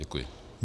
Děkuji.